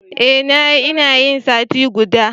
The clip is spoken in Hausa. Eh na yi, ina yin sati guda.